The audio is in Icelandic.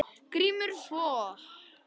GRÍMUR: Svo?